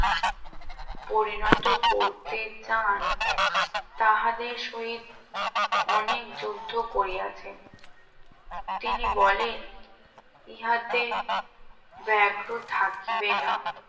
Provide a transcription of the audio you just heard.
পরিণত করতে চান তাহলে শরীর অনেক যুদ্ধ করে আছেন তিনি বলেন ইহাতে ব্যাঘ্র থাকবে না